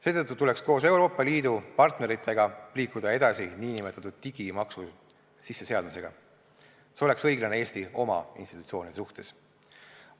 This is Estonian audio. Seetõttu tuleks koos Euroopa Liidu partneritega liikuda edasi nn digimaksu sisseseadmisega, see oleks õiglane Eesti oma institutsioonide suhtes.